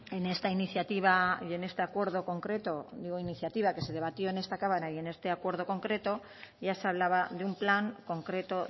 en esta iniciativa y en este acuerdo concreto digo iniciativa que se debatió en esta cámara y en este acuerdo concreto ya se hablaba de un plan concreto